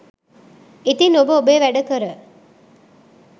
ඉතින් ඔබ ඔබේ වැඩ කර